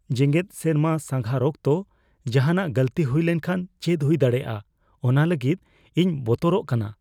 ᱡᱟᱜᱮᱫ ᱥᱮᱨᱢᱟ ᱥᱟᱸᱜᱷᱟᱨ ᱚᱠᱛᱚ ᱡᱟᱦᱟᱱᱟᱜ ᱜᱟᱹᱞᱛᱤ ᱦᱩᱭ ᱞᱮᱱᱠᱷᱟᱱ ᱪᱮᱫ ᱦᱩᱭ ᱫᱟᱲᱮᱭᱟᱜᱼᱟ ᱚᱱᱟ ᱞᱟᱹᱜᱤᱫ ᱤᱧ ᱵᱚᱛᱚᱨᱚᱜ ᱠᱟᱱᱟ ᱾